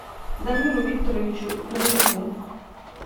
дамиру викторовичу дубовику